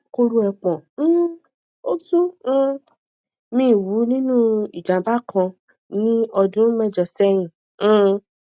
koro epon um ọtún um mi wú nínú ìjàmbá kan ní ọdún mẹjọ sẹyìn um